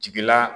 Jigila